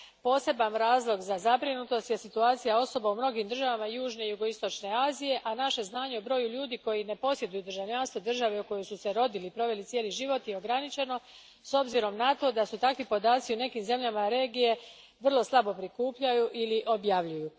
Poseban razlog za zabrinutost je situacija osoba u mnogim državama južne i jugoistočne Azije, a naše znanje o broju ljudi koji ne posjeduju državljanstvo države u kojoj su se rodili i proveli cijeli život je ograničeno, s obzirom na to da se takvi podaci u nekim zemljama regije vrlo slabo prikupljaju ili objavljuju.